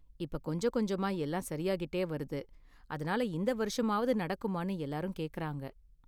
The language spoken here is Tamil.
இப்ப கொஞ்சம் கொஞ்சமா எல்லாம் சரியாகிட்டே வருது, அதனால இந்த வருஷமாவது நடக்குமானு எல்லாரும் கேக்கறாங்க.